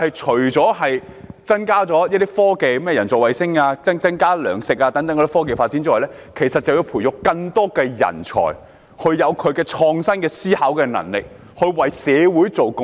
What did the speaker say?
除了可以促進科技發展，例如人造衞星及增加糧食生產外，其實就是想培育更多人才，希望能有創新思考的能力，為社會作出貢獻。